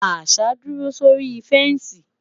àṣà duro sórí fensi